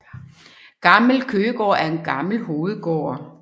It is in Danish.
Gammel Køgegård er en gammel hovedgård